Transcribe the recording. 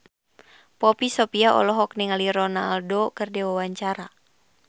Poppy Sovia olohok ningali Ronaldo keur diwawancara